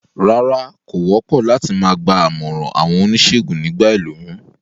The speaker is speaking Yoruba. Rárá, kò wópò láti ma gba àmòràn àwon onísègùn nígba ìlóyún